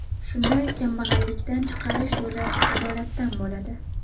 Shunda kambag‘allikdan chiqarish yo‘li adolatdan bo‘ladi.